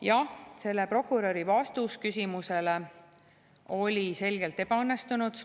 Jah, selle prokuröri vastus küsimusele oli selgelt ebaõnnestunud.